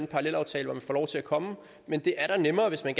parallelaftale hvor man får lov til at komme men det er da nemmere hvis man